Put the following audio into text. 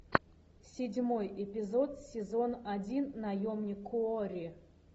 седьмой эпизод сезон один наемник куорри